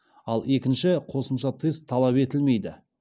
ал екінші қосымша тест талап етілмейді